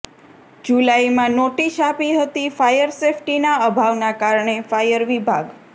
જુલાઈમાં નોટીસ આપી હતી ફાયર સેફ્ટીના અભાવના કારણે ફાયર વિભાગ